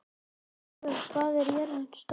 Eivör, hvað er jörðin stór?